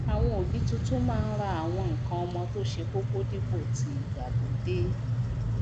àwon òbí titun máá n ra àwon nkan omo tó se kókó dípò tii ìgbàlódé